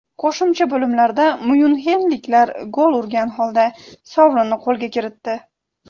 Qo‘shimcha bo‘limlarda myunxenliklar gol urgan holda sovrinni qo‘lga kiritdi.